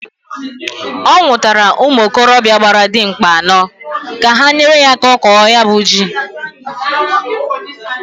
Ọ nwụtara ụmụ ikorobịa gbara dimkpa anọọ, ka ha nyere ya aka kọọ ya bu ji.